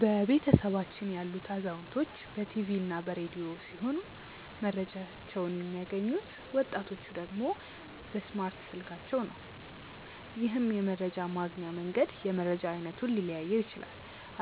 በቤተሰባችን ያሉት አዛውንቶች በ ቲቪ እና በ ረዲዮ ሲሆም መረጃቸውን የሚያገኙት፤ ወጣቲቹ ደግሞ በእስማርት ስልካቸው ነው። ይህም የመረጃ ማግኛ መንገድ የመረጃ አይነቱን ሊለያየው ይችላል።